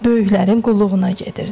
Böyüklərin qulluğuna gedirdi.